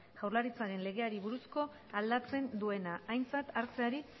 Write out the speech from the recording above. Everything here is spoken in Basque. jaurlaritzaren legeari buruzkoa aldatzen duena aintzat hartzeari